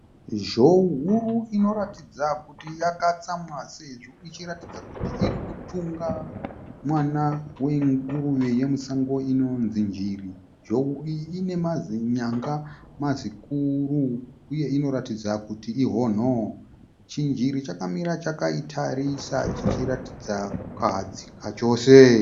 Zhou huru inoratidza kuti yakatsamwa sezvo ichiratidza kuti iri kutunga mwana wenguruve yemusango inonzi njiri. Zhou iyi ine mazinyanga mazikuru uye inoratidza kuti ihonho. Chinjiri chakamira chakaitarisa chichiratidza kukahadzika chose.